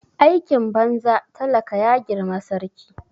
Aikin banza talaka ya girma sarki